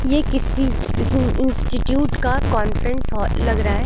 ये किसी इस इंस्टिट्यूट का कॉन्फ्रेंस हॉल लग रहा है।